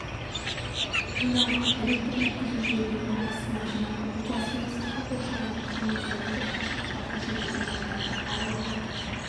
жинауға электр жеткізу желілерінің астына жинауға учаскенің сыртқы қоршауынан кемінде метр қашықтықта көшелерде жолдарда аулалық